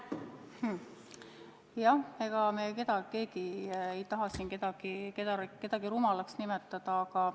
Ega me keegi ei taha siin kedagi rumalaks nimetada.